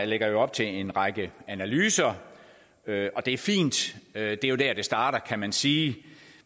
lægger op til en række analyser og det er fint det er jo der det starter kan man sige